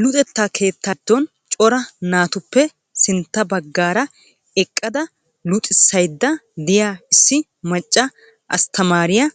Luxetta keettaa giddon cora naatuppe sintta baggaara eqqada luxissaydda de'iyaa issi macca asttamaariyaa